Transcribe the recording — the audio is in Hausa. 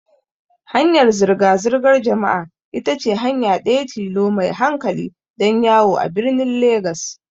Hanyar zirga-zirgar jama'a ita ce hanya ɗaya tilo mai hankali don yawo birnin Legas.